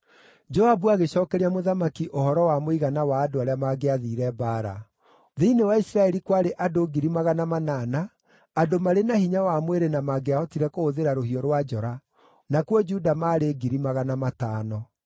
Joabu agĩcookeria mũthamaki ũhoro wa mũigana wa andũ arĩa mangĩathiire mbaara: Thĩinĩ wa Isiraeli kwarĩ andũ ngiri magana manana andũ marĩ na hinya wa mwĩrĩ na mangĩahotire kũhũthĩra rũhiũ rwa njora, nakuo Juda maarĩ ngiri magana matano.